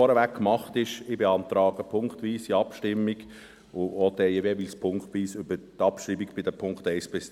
Ich beantrage eine punktweise Abstimmung, auch jeweils über die Abschreibung bei den Punkten 1 bis 3.